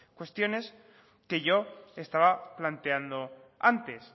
cuestiones que yo estaba planteando antes